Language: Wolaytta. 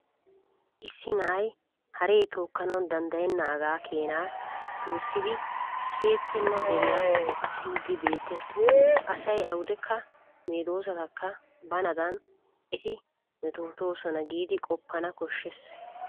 Issi na'ay haree tookkanawu danddayennaagaa Keenan tossidi kiyetettenaa deriyaa kessiiddi beettes. Asay awudekka medosatakka banada eti metotoosona giidi qoppana koshshes.